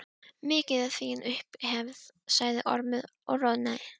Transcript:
Mikil er þín upphefð, sagði Ormur og roðnaði.